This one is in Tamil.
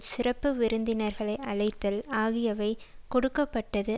சிறப்பு விருந்தினர்களை அழைத்தல் ஆகியவை கொடுக்க பட்டது